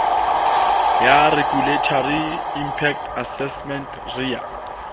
ya regulatory inpact assessment ria